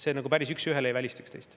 Need nagu päris üks ühele ei välista üksteist.